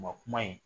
Ma kuma in